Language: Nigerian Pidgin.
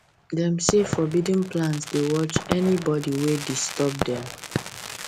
them say forbidden plants dey watch anybody wey disturb dem